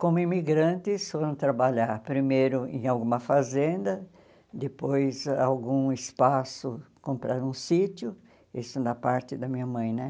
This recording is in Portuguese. Como imigrantes foram trabalhar primeiro em alguma fazenda, depois algum espaço compraram um sítio, isso na parte da minha mãe, né?